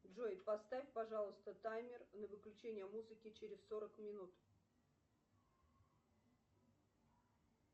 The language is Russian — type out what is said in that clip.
джой поставь пожалуйста таймер на выключение музыки через сорок минут